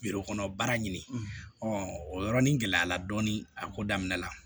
kɔnɔ baara ɲini ɔ o yɔrɔnin gɛlɛyara dɔɔni a ko daminɛ la